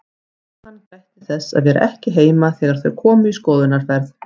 Jóhann gætti þess að vera ekki heima þegar þau komu í skoðunarferð.